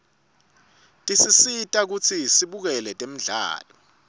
tisisita kutsi sibukele temdlalo